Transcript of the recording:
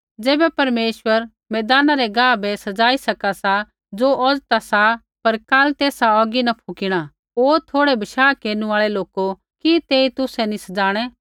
ज़ैबै परमेश्वर मैदाना रै गाह बै सज़ाई सका सा ज़ो औज़ ता सा पर काल तेसा औगी न फुकिणा ओ थोड़ै बशाह केरनु आल़ै लोको कि तेई तुसै नी सज़ाणै